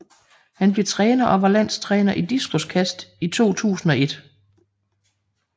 Han blev træner og var landstræner i diskoskast i 2001